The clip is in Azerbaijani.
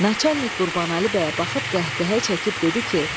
Naçanik Qurbanəli bəyə baxıb qəhqəhə çəkib dedi ki,